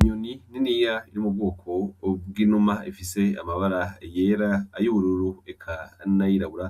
Inyoni niniya iri mu bwoko bw'inuma ifise amabara yera, ay'ubururu eka n'ayirabura,